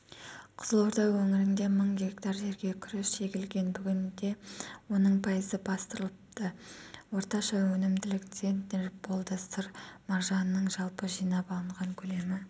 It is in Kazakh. қызылорда өңірінде мың гектар жерге күріш егілген бүгінде оның пайызы бастырылыпты орташа өнімділік центнер болды сыр маржанының жалпы жинап алынған көлемі